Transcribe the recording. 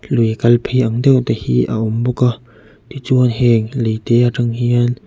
lui kal phei ang deuh te hi a awm bawk a tichuan heng leite atang hian--